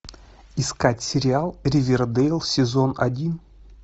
искать сериал ривердейл сезон один